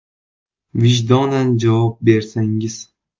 Vijdonan javob bersangiz.